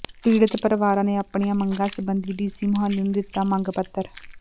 ਪੀੜਤ ਪਰਿਵਾਰਾਂ ਨੇ ਆਪਣੀਆਂ ਮੰਗਾਂ ਸਬੰਧੀ ਡੀਸੀ ਮੁਹਾਲੀ ਨੂੰ ਦਿੱਤਾ ਮੰਗ ਪੱਤਰ